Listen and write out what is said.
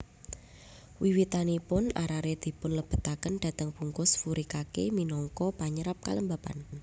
Wiwitanipun arare dipunlebetaken dhateng bungkus furikake minangka panyerap kelembapan